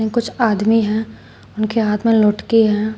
कुछ आदमी है उनके हाथ में लौटकी हैं।